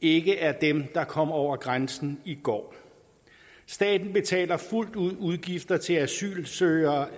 ikke er dem der kom over grænsen i går staten betaler fuldt ud udgifter til asylansøgere